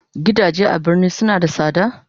Gidaje a birni suna da sada?